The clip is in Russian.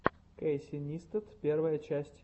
кейси нистат первая часть